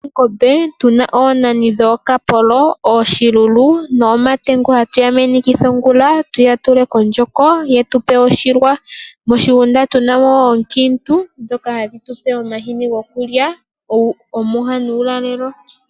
Oongombe, otu na oonani dhooKapolo, ooShilulu nooMatengu hatu ya menekitha ongula, tuya tule kondjoko, ye tu pe oshilwa. Moshigunda tu na mo ooonkiintu , ndhoka ha dhi tu pe omahini goku lya omwiha nuulalelo.